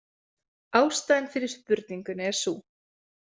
Ástæðan fyrir spurningunni er sú.